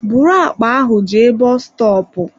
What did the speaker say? Bụrụ àkpà ahụ jee bọs stọọpu!